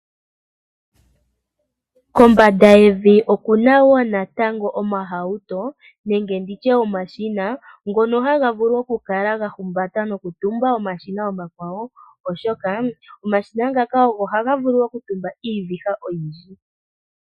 Kombanda yevi okuna wo natango omahauto nenge nditye omashina ngono haga vulu oku kala ga humbata noku tumba omashina omakwawo oshoka ngaka ohaga vulu oku tumba iiviha oyindji.